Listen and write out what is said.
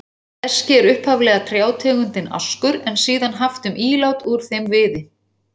Eski er upphaflega trjátegundin askur, en síðan haft um ílát úr þeim viði.